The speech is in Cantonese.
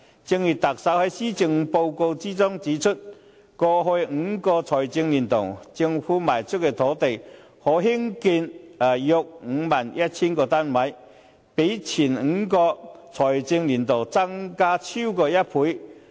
正如特首在施政報告中指出，過去5個財政年度，政府賣出的土地可供興建約 51,000 個單位，比前5個財政年度增加超過1倍。